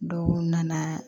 Dɔw nana